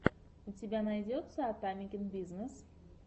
у тебя найдется атамекен бизнес